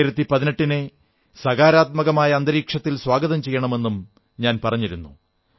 2018 നെ സകാരാത്മകമായ അന്തരീക്ഷത്തിൽ സ്വാഗതം ചെയ്യണമെന്നും പറഞ്ഞു